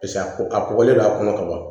Paseke a ko a kɔgɔlen don a kɔnɔ ka ban